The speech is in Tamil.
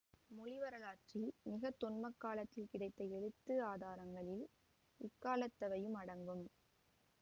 மொழி வரலாற்றில் மிக தொன்மக் காலத்தில் கிடைத்த எழுத்து ஆதாரங்களில் இக்காலத்தவையும் அடங்கும்